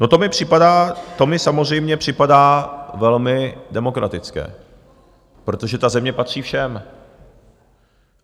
No, to mi připadá, to mi samozřejmě připadá velmi demokratické, protože ta země patří všem.